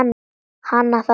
Hana þá.